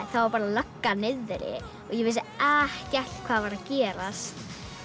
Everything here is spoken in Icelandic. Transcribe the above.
þá var lögga niðri og ég vissi ekkert hvað var að gerast